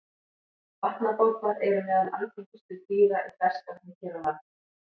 Vatnabobbar eru meðal algengustu dýra í ferskvatni hér á landi.